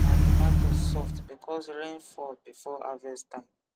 my tomatoes soft because rain fall before harvest time